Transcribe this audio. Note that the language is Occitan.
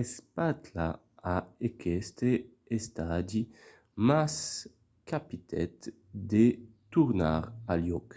espatla a aqueste estadi mas capitèt de tornar al jòc